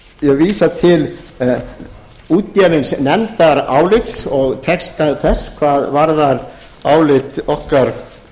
hef vísað til útgefins nefndarálits og texta þess hvað varðar álit okkar félaga